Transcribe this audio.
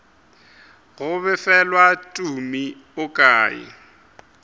go befelwa tumi o kae